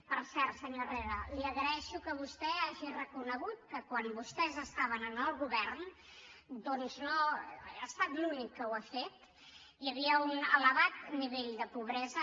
per cert senyor herrera li agraeixo que vostè hagi reconegut que quan vostès estaven en el govern doncs ha estat l’únic que ho ha fet hi havia un elevat nivell de pobresa